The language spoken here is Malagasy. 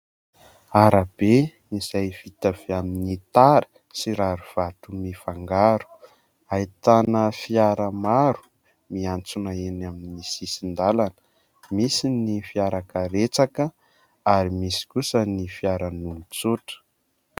Arabe izay vita avy amin'ny tara, sy rarivato mifangaro. Ahitana fiara maro miantsona eny amin'ny sisin-dalana, misy ny fiarakaretsaka ary misy kosa ny fiaran'olon-tsotra.